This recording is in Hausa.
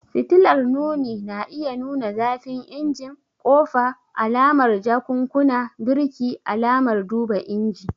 Fitilar nuni na iya nuna zafin injin, kofa, alamar jakunkuna, birki, alamar duba inji.